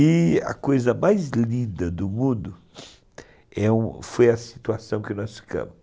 E a coisa mais linda do mundo, é, foi a situação que nós ficamos.